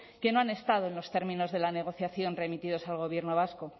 que no han estado en los términos de la negociación remitidos al gobierno vasco